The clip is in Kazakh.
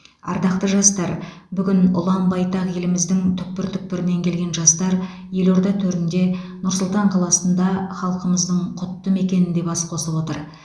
ардақты жастар бүгін ұлан байтақ еліміздің түкпір түкпірінен келген жастар елорда төрінде нұр сұлтан қаласында халқымыздың құтты мекенінде бас қосып отыр